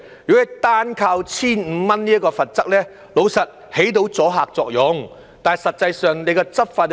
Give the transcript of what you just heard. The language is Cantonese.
如果單靠 1,500 元這項罰則，老實說，是可以起到阻嚇作用的，但實際執法又如何？